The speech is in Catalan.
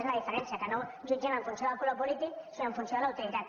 és la diferència que ho no jutgem en funció del color polític sinó en funció de la utilitat